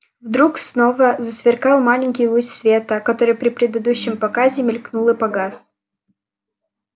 вдруг снова засверкал маленький луч света который при предыдущем показе мелькнул и погас